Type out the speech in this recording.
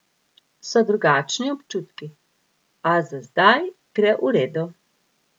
So drugačni občutki, a za zdaj gre v redu.